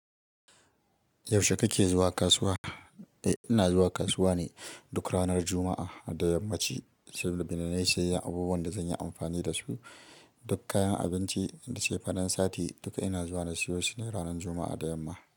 Yaushe kake zuwa kasuwa? Eh ina zuwa kasuwa ne duk ranar Juma'a da yammaci saboda na yi siyayyan abubuwan da zan yi amfani da su. Duk kayan abinci da cefanen sati duka ina zuwa na siyo su ne ranar Juma'a da yamma.